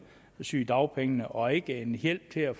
sygedagpengene og ikke en hjælp til at